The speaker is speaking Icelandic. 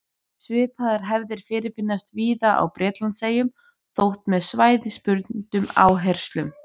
Svipaðar hefðir fyrirfinnast víða á Bretlandseyjum, þó með svæðisbundnum áherslum.